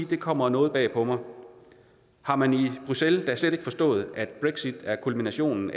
det kommer noget bag på mig har man i bruxelles da slet ikke forstået at brexit er kulminationen